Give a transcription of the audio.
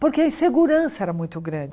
Porque a insegurança era muito grande.